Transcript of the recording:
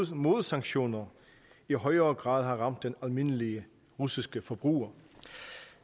modsanktioner i højere grad har ramt den almindelige russiske forbruger